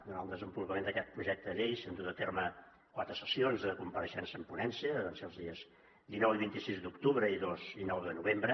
durant el desenvolupament d’aquest projecte de llei s’han dut a terme quatre sessions de compareixença en ponència que van ser als dies dinou i vint sis d’octubre i dos i nou de novembre